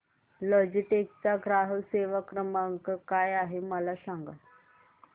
Logitech चा ग्राहक सेवा क्रमांक काय आहे मला सांगा